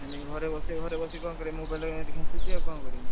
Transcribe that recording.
ସେଇ ଲାଗି ଘରେ ବସଛି ଘରେ ବସିକି ଆଉ କଣ କରିବି mobile ଟା କୁ ଏମିତି ଖେନଚୁଛି ଆଉ କଣ କରିବି।